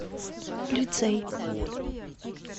лицей